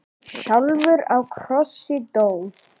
sjálfur á krossi dó.